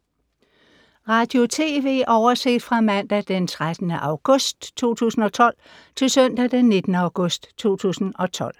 Radio/TV oversigt fra mandag d. 13. august 2012 til søndag d. 19. august 2012